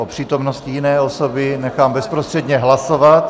O přítomnosti jiné osoby nechám bezprostředně hlasovat.